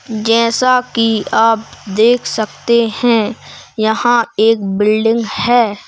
जैसा कि आप देख सकते हैं यहां एक बिल्डिंग है।